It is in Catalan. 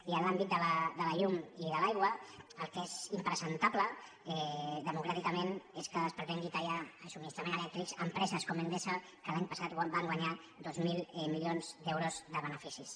i en l’àmbit de la llum i de l’aigua el que és impresentable democràticament és que es pretengui tallar el subministrament elèctric d’empreses com endesa que l’any passat van guanyar dos mil milions d’euros de beneficis